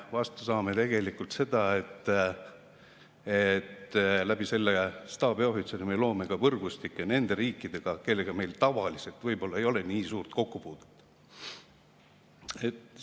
Vastu saame tegelikult seda, et selle staabiohvitseri abil me loome võrgustikke ka nende riikidega, kellega meil tavaliselt võib-olla nii suurt kokkupuudet ei ole.